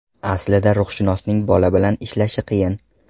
Aslida ruhshunosning bola bilan ishlashi qiyin.